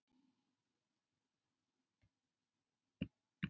Aðrir herma eftir honum meðan Oddný tekur sér aftur stöðu við töfluna og skrifar